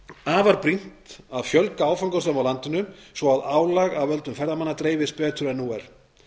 afar brýnt að fjölga áfangastöðum á landinu svo að álag af völdum ferðamanna dreifist betur en nú er